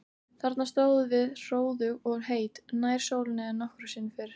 Þarna stóðum við hróðug og heit, nær sólinni en nokkru sinni fyrr.